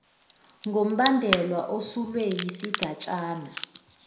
kombandela osulwe yisigatshana